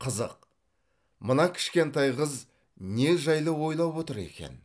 қызық мына кішкентай қыз не жайлы ойлап отыр екен